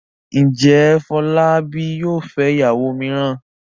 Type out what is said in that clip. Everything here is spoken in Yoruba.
Ǹjẹ́ Fọlábí yóò fẹ́ ìyàwó mìíràn?